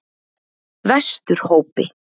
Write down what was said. Vesturhópi